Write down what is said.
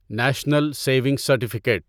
national saving certificate